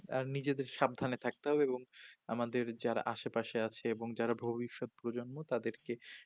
আর নিজেকে সাবধান এ থাকতে হবে এবং আমাদের যারা আসে পাশে আছে এবং যারা ভবিষৎ প্রজন্ম তাদেরকে